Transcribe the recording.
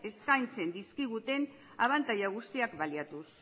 eskaintzen dizkiguten abantaila guztiak baliatuz